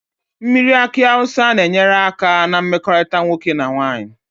Mmiri aki awusa na enyere aka na mmekorita nwoke na nwanyi